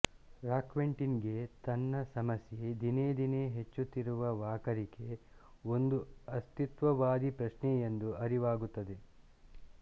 Roquentin ಗೆ ತನ್ನ ಸಮಸ್ಯೆ ದಿನೇದಿನೇ ಹುಚ್ಚುತ್ತಿರುವ ವಾಕರಿಕೆ ಒಂದು ಅಸ್ತಿತ್ವವಾದೀ ಪ್ರಶ್ನೆಯೆಂದು ಅರಿವಾಗುತ್ತದೆ